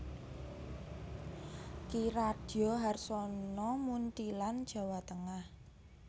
Ki Radyo Harsono Muntilan Jawa Tengah